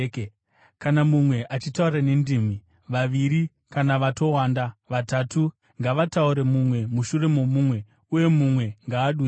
Kana mumwe achitaura nendimi, vaviri, kana vatowanda, vatatu, ngavataure mumwe mushure momumwe, uye mumwe ngaadudzire.